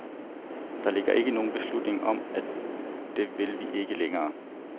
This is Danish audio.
Der ligger ikke nogen beslutning om, at det vil vi ikke længere.